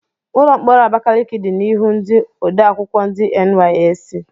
Ụlọ mkpọrọ Abakaliki dị n'ihu ndị odeakwụkwọ ndi NYSC.